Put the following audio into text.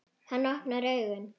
Hann opnar augun.